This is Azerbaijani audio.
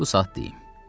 Bu saat deyim.